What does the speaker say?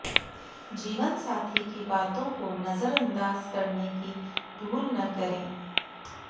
जीवनसाथी की बातों को नज़रअंदाज करने की भूल न करें